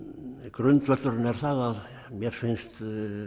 grundvöllurinn er það að mér finnst